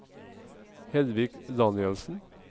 Hedvig Danielsen